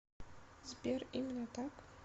сбер именно так